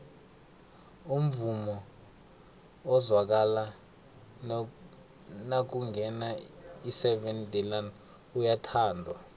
umvumo ozwakala nakungena iseven delaan uyathandwa